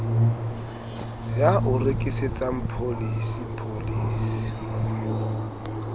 ya o rekisetsang pholisi pholisi